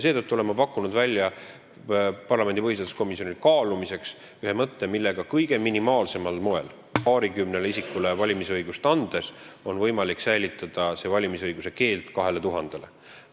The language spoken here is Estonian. Seetõttu olen ma pakkunud välja parlamendi põhiseaduskomisjonile kaalumiseks ühe mõtte, millega kõige minimaalsemal moel, paarikümnele isikule valimisõigust andes on võimalik säilitada valimisõiguse keeld 2000-le.